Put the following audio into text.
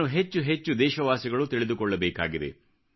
ಇದನ್ನು ಹೆಚ್ಚು ಹೆಚ್ಹು ದೇಶವಾಸಿಗಳು ತಿಳಿದುಕೊಳ್ಳಬೇಕಾಗಿದೆ